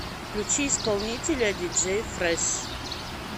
включи исполнителя диджей фрэш